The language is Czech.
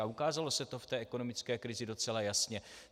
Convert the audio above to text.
A ukázalo se to v té ekonomické krizi docela jasně.